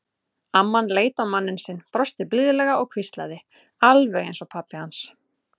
Amman leit á manninn sinn, brosti blíðlega og hvíslaði: Alveg eins og pabbi hans.